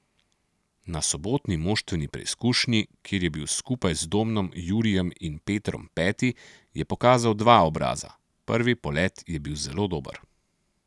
Na sobotni moštveni preizkušnji, kjer je bil skupaj z Domnom, Jurijem in Petrom peti, je pokazal dva obraza: 'Prvi polet je bilo zelo dober.